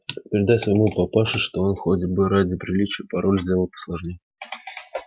передай своему папаше что он хоть бы ради приличия пароль сделал посложнее